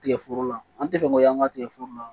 Tigɛ foro la an tɛ fɛn ko y'an ka tigɛforo la